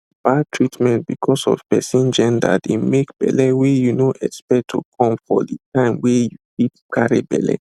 bad treatment because of person genderdey make belle wey you no expect to come for de time wey you fit carry belle